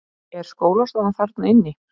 Er skólastofa þarna inni?